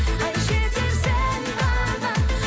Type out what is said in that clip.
ай жетерсің тағы